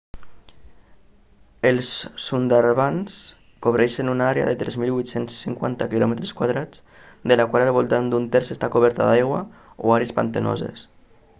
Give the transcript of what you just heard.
els sundarbans cobreixen una àrea de 3.850 km² de la qual al voltant d'un terç està coberta d'aigua/àrees pantanoses